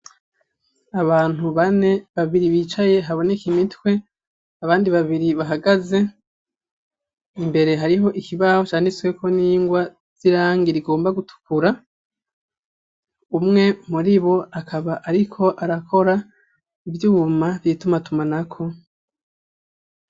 Abantu bane babiri bicaye haboneka imitwe abandi babiri bahagaze imbere hariho ikibaho canditsweho n'ingwa z'irangi rigomba gutukura umwe muri bo akaba ariko arakora ivyuma vy'itumatumanako.